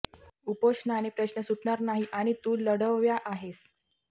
उपोषणाने प्रश्न सुटणार नाही आणि तू लढवय्या आहेस